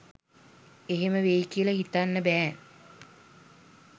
එහෙම වෙයි කියලා හිතන්න බෑ.